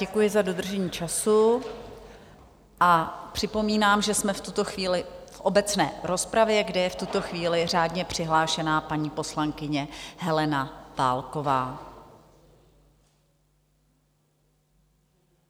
Děkuji za dodržení času a připomínám, že jsme v tuto chvíli v obecné rozpravě, kde je v tuto chvíli řádně přihlášená paní poslankyně Helena Válková.